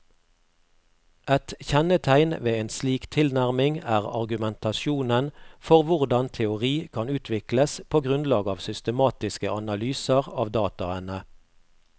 Et kjennetegn ved en slik tilnærming er argumentasjonen for hvordan teori kan utvikles på grunnlag av systematiske analyser av dataene.